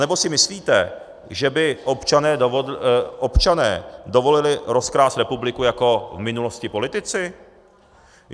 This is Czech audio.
Anebo si myslíte, že by občané dovolili rozkrást republiku jako v minulosti politici?